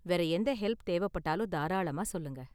வேற எந்த ஹெல்ப் தேவைப்பட்டாலும் தாராளமா சொல்லுங்கள்.